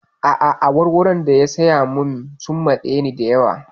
A'a, awarwaron da ya saya min sun matse ni da yawa.